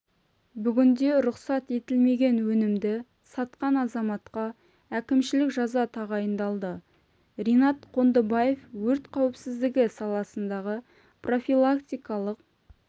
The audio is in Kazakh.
бүгінде рұқсат етілмеген өнімді сатқан азаматқа әкімшілік жаза тағайындалды ринат қондыбаев өрт қауіпсіздігі саласындағы профилактикалық